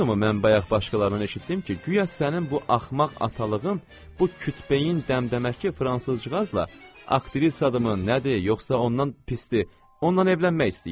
Doğrudurmu mən bayaq başqalarından eşitdim ki, guya sənin bu axmaq atalığın, bu kütbeyin dəmdəməki fransızcığazla aktrisa adı mı, nədir, yoxsa ondan pisdir, ondan evlənmək istəyir.